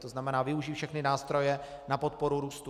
To znamená využít všechny nástroje na podporu růstu.